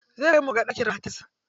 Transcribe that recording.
Zai kai mu muga ɗakin matarsa.